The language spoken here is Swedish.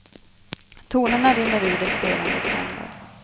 Tonerna rinner ur de spelandes händer.